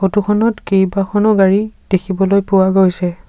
Photo খনত কেইবাখনো গাড়ী দেখিবলৈ পোৱা গৈছে।